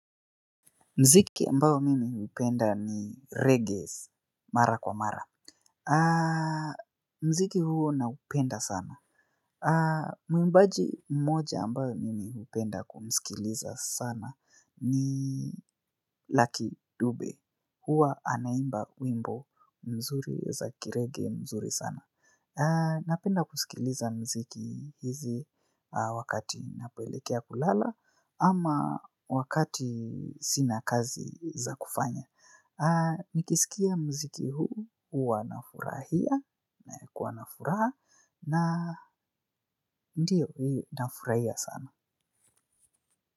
Mziki ambao mimi hupenda ni reggae mara kwa mara. Mziki huo naupenda sana. Mwimbaji mmoja ambao mimi hupenda kumskiliza sana ni Lucky Dube. Hua anaimba wimbo mzuri za ki raggae mzuri sana. Napenda kusikiliza mziki hizi wakati napoelekea kulala ama wakati sina kazi za kufanya. Nikisikia mziki huu huwa nafurahi nakuwa na furaha na ndio huu nafurahia sana.